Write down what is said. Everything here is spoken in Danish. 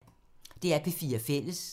DR P4 Fælles